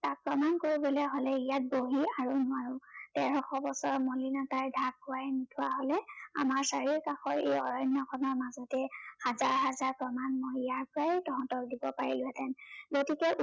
তাক প্ৰমাণ কৰিবলৈ হলে ইয়াত বহি আৰু নোৱাৰো। তেৰশ বছৰৰ মলিনতাই ঢাক খোৱাই নোথোৱা হলে আমাৰ চাৰিও কাষৰ এই অৰণ্য়খনৰ মাজতে হাজাৰ হাজাৰ প্ৰমাণ মই ইয়াৰ পৰাই দিব পাৰিলোহঁতেন, গতিকে উঠ